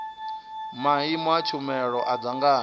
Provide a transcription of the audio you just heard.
maimo a tshumelo a dzangano